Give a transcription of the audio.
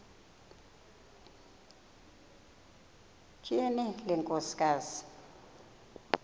tyhini le nkosikazi